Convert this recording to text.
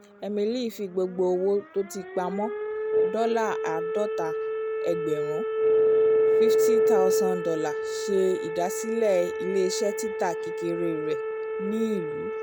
emily fi gbogbo owó tó ti pamó dọ́là àádọ́ta ẹgbẹ̀rún $ fifty thousand ṣe ìdásílẹ̀ ilé-iṣẹ́ tita kékeré rẹ ní ìlú